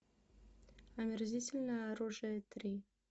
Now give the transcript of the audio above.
омерзительное оружие три